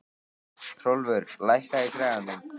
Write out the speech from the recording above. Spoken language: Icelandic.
Hrólfur, lækkaðu í græjunum.